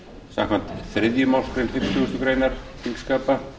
samkvæmt þriðju málsgrein fimmtugustu grein þingskapa